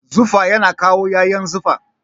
Zufa yana kawo ƴaƴan zufa.